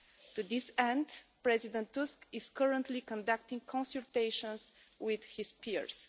To this end, President Tusk is currently conducting consultations with his peers.